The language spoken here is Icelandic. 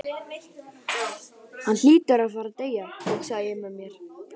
Hann hlýtur að fara að deyja, hugsaði ég með mér.